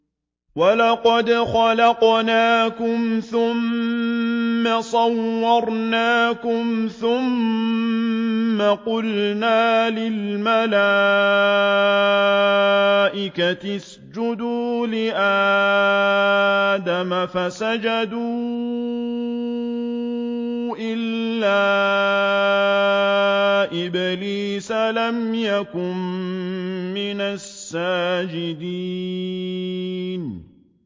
وَلَقَدْ خَلَقْنَاكُمْ ثُمَّ صَوَّرْنَاكُمْ ثُمَّ قُلْنَا لِلْمَلَائِكَةِ اسْجُدُوا لِآدَمَ فَسَجَدُوا إِلَّا إِبْلِيسَ لَمْ يَكُن مِّنَ السَّاجِدِينَ